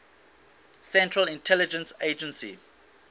central intelligence agency